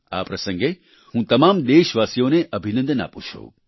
આ પ્રસંગે હું તમામ દેશવાસીઓને અભિનંદન આપું છું